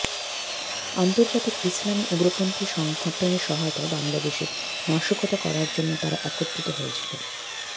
আন্তর্জাতিক ইসলামি উগ্রপন্থী সংগঠনের সহায়তায় বাংলাদেশে নাশকতা করার জন্য তারা একত্রিত হয়েছিল